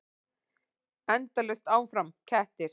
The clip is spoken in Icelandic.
Endalaust áfram: kettir.